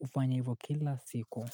ufanya hivo kila siku.